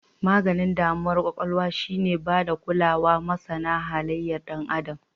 Maganin damuwar kwakwalwa shi ne bada kulawa masana halayar Dan Adam.